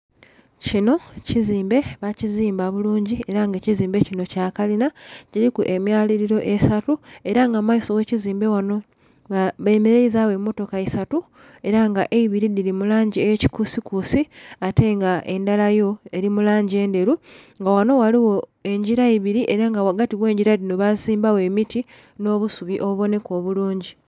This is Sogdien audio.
Kinho kizimbe ba kizimba bulungi era nga ekizimbe kinho Kya kalinha kiliku emyalilo esatu era nga mu maiso ghe kizimbe ghanho bemeleizagho emotoka isatu era nga eibiri dhili mu langi eye kikusikusi ate nga endhala yo eli mu langi endheru. Nga ghanho ghaligho engila ebiri era nga ghagati ghegila dhino basimbagho emiti nho busubi obubonheka obulungi.